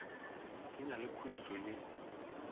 di na le khuetšo ye